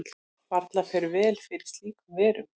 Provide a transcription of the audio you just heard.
Varla fer vel fyrir slíkur verum.